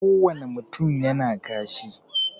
Ko wane mutum yana kashi